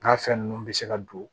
N ga fɛn nunnu bɛ se ka don